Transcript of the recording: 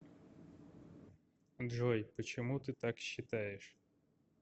джой почему ты так считаешь